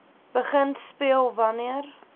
begin speel wanneer